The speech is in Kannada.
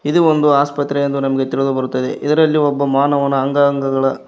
ಇದು ಒಂದು ಆಸ್ಪತ್ರೆ ಎಂದು ನಮಗೆ ತಿಳಿದು ಬರ್ತಾ ಇದೆ ಇದರಲ್ಲಿ ಮಾನವನ ಅಂಗಾಂಗಗಳ--